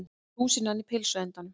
Rúsínan í pylsuendanum